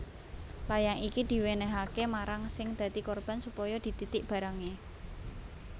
Layang iki diwènèhaké marang sing dadi korban supaya dititik barangé